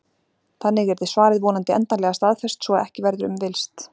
Þannig yrði svarið vonandi endanlega staðfest svo að ekki verður um villst.